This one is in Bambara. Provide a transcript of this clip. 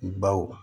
Baw